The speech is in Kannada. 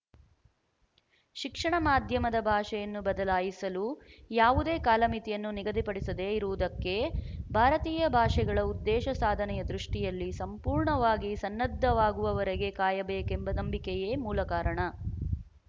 ಶಿಕ್ಷಣ ಮಾಧ್ಯಮದ ಭಾಷೆಯನ್ನು ಬದಲಾಯಿಸಲು ಯಾವುದೇ ಕಾಲಮಿತಿಯನ್ನು ನಿಗದಿಪಡಿಸದೆ ಇರುವುದಕ್ಕೆ ಭಾರತೀಯ ಭಾಷೆಗಳ ಉದ್ದೇಶ ಸಾಧನೆಯ ದೃಷ್ಟಿಯಲ್ಲಿ ಸಂಪೂರ್ಣವಾಗಿ ಸನ್ನದ್ಧವಾಗುವವರೆಗೆ ಕಾಯಬೇಕೆಂಬ ನಂಬಿಕೆಯೇ ಮೂಲಕಾರಣ